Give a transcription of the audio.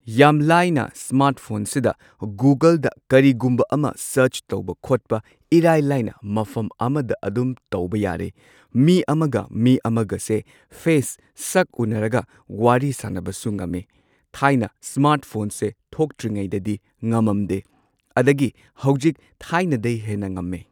ꯌꯥꯝ ꯂꯥꯏꯅ ꯁ꯭ꯃꯥꯔꯠꯐꯣꯟꯁꯤꯗ ꯒꯨꯒꯜꯗ ꯀꯔꯤꯒꯨꯝꯕ ꯑꯃ ꯁꯔꯆ ꯇꯧꯕ ꯈꯣꯠꯄ ꯏꯔꯥꯏ ꯂꯥꯏꯅ ꯃꯐꯝ ꯑꯃꯗ ꯑꯗꯨꯝ ꯇꯧꯕ ꯌꯥꯔꯦ ꯃꯤ ꯑꯃꯒ ꯃꯤ ꯑꯃꯒꯁꯦ ꯐꯦꯁ ꯁꯛ ꯎꯟꯅꯔꯒ ꯋꯥꯔꯤ ꯁꯥꯟꯅꯕꯁꯨ ꯉꯝꯃꯦ꯫ ꯊꯥꯏꯅ ꯁ꯭ꯃꯥꯔꯠꯐꯣꯟꯁꯦ ꯊꯣꯛꯇ꯭ꯔꯤꯉꯩꯗꯗꯤ ꯉꯝꯃꯝꯗꯦ ꯑꯗꯒꯤ ꯍꯧꯖꯤꯛ ꯊꯥꯏꯅꯗꯩ ꯍꯦꯟꯅ ꯉꯝꯃꯦ꯫